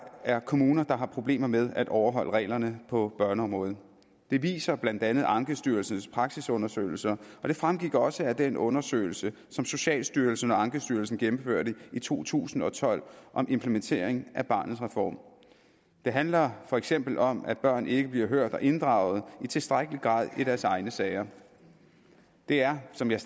er kommuner der har problemer med at overholde reglerne på børneområdet det viser blandt andet ankestyrelsens praksisundersøgelser og det fremgik også af den undersøgelse som socialstyrelsen og ankestyrelsen gennemførte i to tusind og tolv om implementering af barnets reform det handler for eksempel om at børn ikke bliver hørt og inddraget i tilstrækkelig grad i deres egne sager det er som jeg